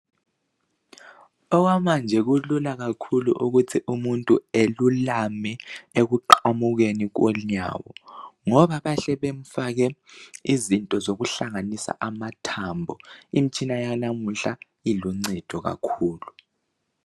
Okwamanje kulula kakhulu ukuthi umuntu elulame ekuqamukeni konyawo ngoba bahle bemfake izinto zokuhlanganisa amathambo. Imitshina yanamuhla iluncedo kakhulu.